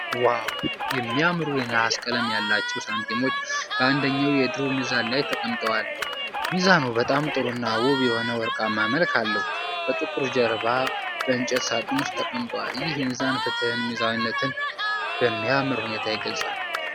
ዋው! የሚያምሩ የነሐስ ቀለም ያላቸው ሳንቲሞች በአንደኛው የድሮ ሚዛን ላይ ተቀምጠዋል። ሚዛኑ በጣም ጥሩ እና ውብ የሆነ ወርቃማ መልክ አለው፤ በጥቁር ጀርባ እና በእንጨት ሳጥን ውስጥ ተቀምጧል። ይህ ሚዛን ፍትህንና ሚዛናዊነትን በሚያምር ሁኔታ ይገልጻል።